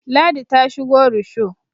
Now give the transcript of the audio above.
ladi ta shigo rusho